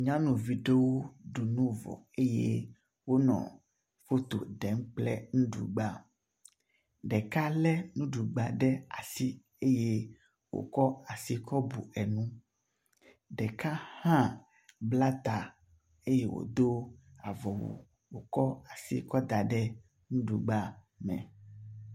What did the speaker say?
Nyɔnuvi aɖewo ɖu nu vɔ eye wonɔ foto ɖem kple nuɖugba. Ɖeka le nuɖugba ɖe asi eye wokɔ asikɔ bu enu. Ɖeka hã bla ta eye wodo avɔwu wokɔa si kɔ da ɖe nuɖugba me.